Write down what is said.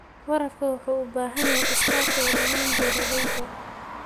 Waraabka wuxuu u baahan yahay iskaashiga dhammaan beeralayda.